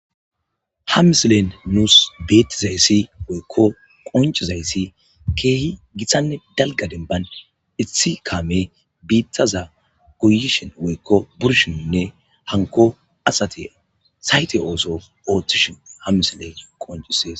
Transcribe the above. Ha mislen nuus beeththizayssi woykko qonccizayssi keehi githanne dalgga denbban ethi kaame biiththaza goyishin woykko burishinne hankko asathi saythe ooso ooththishin ha mislee qonccissees.